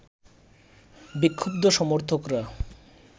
বিক্ষুব্ধ সমর্থকরা